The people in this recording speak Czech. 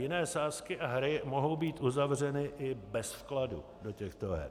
Jiné sázky a hry mohou být uzavřeny i bez vkladu do těchto her.